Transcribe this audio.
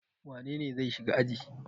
Wane ne zai shiga aji?